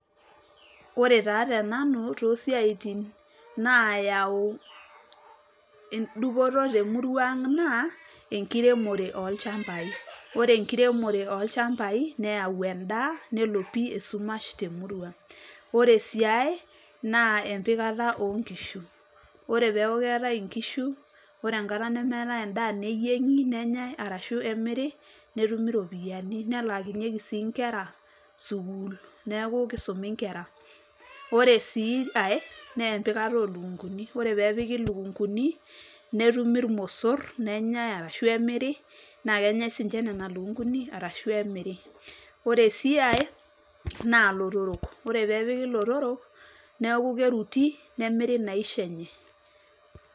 Ore taa tenanu, tosiaitin nayau edupoto temurua ang' naa, enkiremore olchambai. Ore enkiremore olchambai, neyau endaa, nelo pi esumash temurua. Ore si ai, naa empikata onkishu. Ore peeku keetae inkishu, ore enkata nemeetae endaa neyieng'i, nenyai ashu nemiri, netumi ropiyaiani. Nelaakinyeki si nkera, sukuul. Neeku kisumi nkera. Ore si ai, nempikata olukunkuni. Ore pepiki ilukunkuni, netumi irmosor, nenyai arashu emiri, na kenyai sinche nena lukunkuni, arashu emiri. Ore si ai, naa ilotorok. Ore pepiki ilotorok, neeku keruti, nemiri inaisho enye.